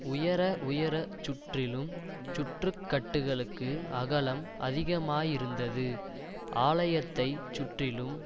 உயர உயரச் சுற்றிலும் சுற்றுக்கட்டுகளுக்கு அகலம் அதிகமாயிருந்தது ஆலயத்தை சுற்றிலும்